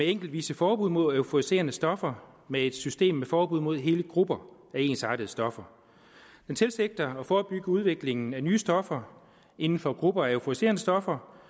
enkeltvise forbud mod euforiserende stoffer med et system med forbud mod hele grupper af ensartede stoffer man tilsigter at forebygge udviklingen af nye stoffer inden for grupper af euforiserende stoffer